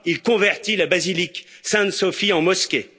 Il convertit la basilique Sainte Sophie en mosquée.